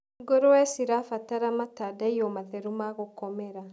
Ngũrũwe cirabatara matandaiyo matheru ma gũkomera.